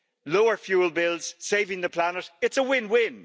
Lower fuel bills, saving the planet it's a win win.